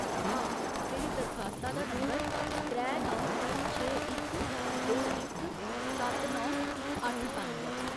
हां, मेरी दरखास्ता दा नंबर त्रै नौ छे इक दो इक सत्त नौ अट्ठ पंज ऐ।